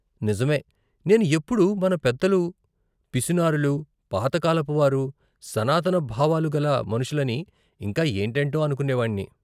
నిజమే! నేను ఎప్పుడు మన పెద్దలు పిసినారులు, పాత కాలపు వారు, సనాతన భావాలుగల మనుషులని ఇంకా ఏంటేంటో అనుకునేవాన్ని.